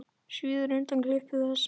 Svíður undan klipum þess.